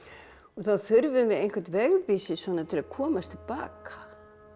þá þurfum við einhvern vegvísi svona til að komast til baka